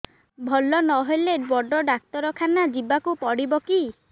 ଭଲ ନହେଲେ ବଡ ଡାକ୍ତର ଖାନା ଯିବା କୁ ପଡିବକି